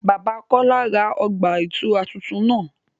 Bàbà Kọla rá ọgba-itura tuntun náà